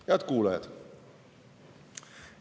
Head kuulajad!